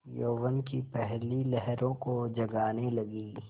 यौवन की पहली लहरों को जगाने लगी